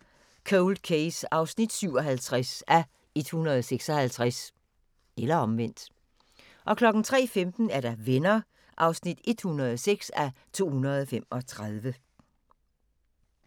01:55: Cold Case (57:156)* 03:15: Venner (106:235)